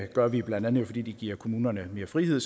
gør vi blandt andet fordi det giver kommunerne mere frihed